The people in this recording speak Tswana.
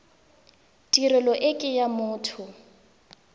tirelo e ke ya motho